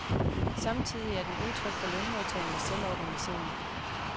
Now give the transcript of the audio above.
Samtidig er den udtryk for lønmodtagernes selvorganisering.